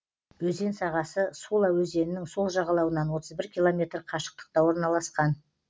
өзен сағасы сула өзенінің сол жағалауынан отыз бір километр қашықтықта орналасқан